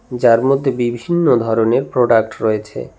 যার মধ্যে বিভিন্ন ধরনের প্রোডাক্ট রয়েছে।